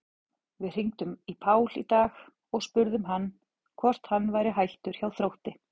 Við hringdum í Pál í dag og spurðum hann hvort hann væri hættur hjá Þrótti?